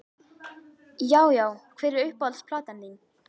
Já Já Hver er uppáhalds platan þín?